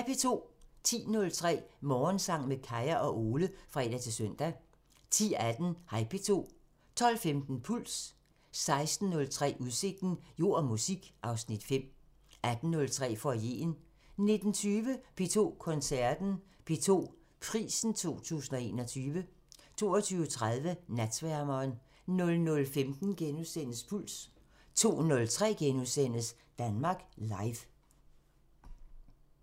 10:03: Morgensang med Kaya og Ole (fre-søn) 10:18: Hej P2 12:15: Puls 16:03: Udsigten – Jord og musik (Afs. 5) 18:03: Foyeren 19:20: P2 Koncerten – P2 Prisen 2021 22:30: Natsværmeren 00:15: Puls * 02:03: Danmark Live *